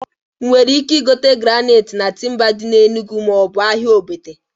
Ị nwere ike igote granait na Timba dị na Enugu maọbụ ahịa Ogbete?